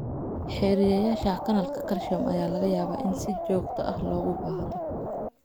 Xiriyeyaasha kanaalka calcium ayaa laga yaabaa in si joogto ah loogu baahdo.